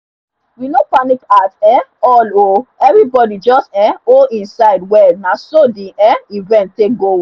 we no panic at um all o everybody just um hold e side well na so the um event take go well